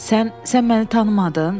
Sən sən məni tanımadın?